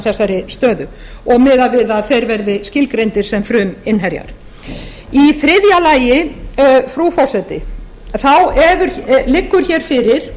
þessari stöðu og miðað við að þeir verði skilgreindir sem fruminnherjar í þriðja lagi frú forseti liggur fyrir